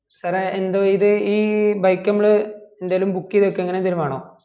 sir എ എന്ത് ഇത് ഈ bike നമ്മള് എന്തേലും book ചെയ്ത് വെകുവ അങ്ങന എന്തേലും വേണാ